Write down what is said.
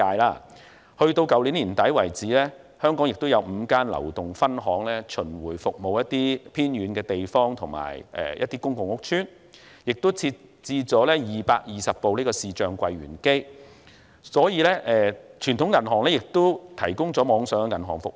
截至去年年底，香港有5間流動分行巡迴服務一些偏遠地方和一些公共屋邨，銀行並設置了220部視像櫃員機；傳統銀行亦同時提供網上銀行服務。